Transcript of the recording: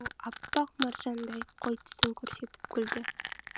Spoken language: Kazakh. ол аппақ маржандай қой тісін көрсетіп күлді